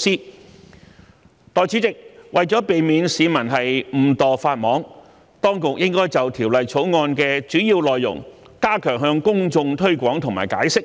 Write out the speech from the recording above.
代理主席，為了避免市民誤墮法網，當局應就《條例草案》的主要內容，加強向公眾推廣和解釋，